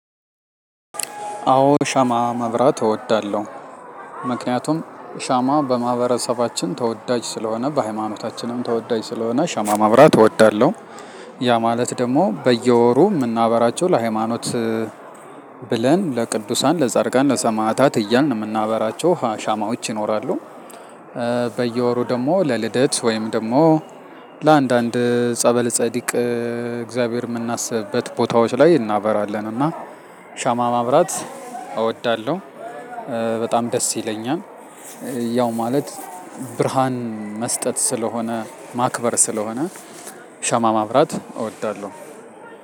አዎ ሻማ ማብራት እወዳለሁ። ምክንያቱም ሻማ በማህበረሰባችን ተወዳጅ ስለሆነ በሃይማኖታችንም ተወዳጅ ስለሆነ ሻማ ማብራት እወዳለሁ። ያ ማለት ደግሞ በየወሩ የምናበራቸው ለሃይማኖት ብለን ለቅዱሳን ለጸድቃን ለሰማዕታት እያልን የምናበራቸው ሻማዎች ይኖራሉ። በየወሩ ደግሞ ለልደት ወይም ደግሞ ለአንዳንድ ጸበል ጸዲቅ እግዚአብሔር የምናስብበት ቦታዎች ላይ እናበራለን። እና ሻማ ማብራት እወዳለሁ። በጣም ደስ ይለኛል። ያው ማለት ብርሃን መስጠት ስለሆነ ማክበር ስለሆነ ሻማ ማብራት እወዳለሁ።